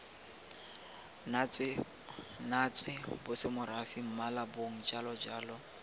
natswe bosemorafe mmala bong jalojalo